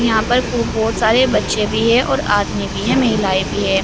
यहां पर तो बोहोत सारे बच्चे भी है और आदमी भी है महिलाएं भी है।